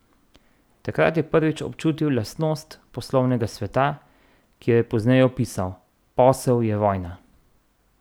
Takrat je prvič občutil lastnost poslovnega sveta, ki jo je pozneje opisal: "Posel je vojna".